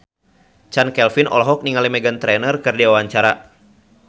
Chand Kelvin olohok ningali Meghan Trainor keur diwawancara